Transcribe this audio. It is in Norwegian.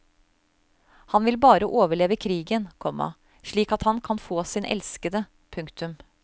Han vil bare overleve krigen, komma slik at han kan få sin elskede. punktum